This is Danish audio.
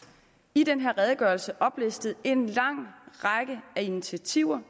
i den her redegørelse oplistet en lang række af initiativer